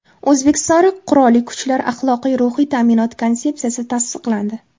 O‘zbekiston Qurolli Kuchlari Axloqiy-ruhiy ta’minot konsepsiyasi tasdiqlandi.